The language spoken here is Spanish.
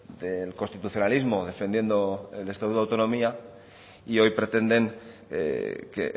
del constitucionalismos defendiendo el estatuto de autonomía y hoy pretenden que